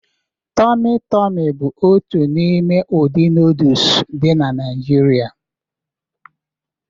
Tọmị Tọmị bụ otu n'ime ụdị nooduls dị na Naijiria